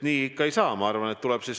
Nii ikka ei saa!